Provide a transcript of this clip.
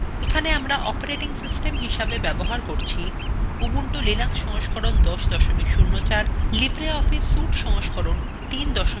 এখানে আমরা operating system হিসাবে ব্যবহার করছি